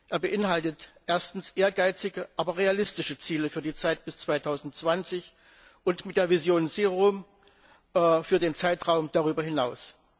Er beinhaltet erstens ehrgeizige, aber realistische Ziele für die Zeit bis 2020 und mit der Vision Zero für den Zeitraum darüber hinaus.